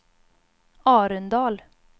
Arendal